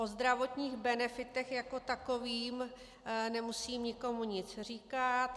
O zdravotních benefitech jako takových nemusím nikomu nic říkat.